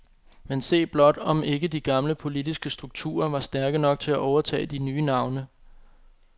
Men se blot, om ikke de gamle politiske strukturer var stærke nok til at overtage de nye navne.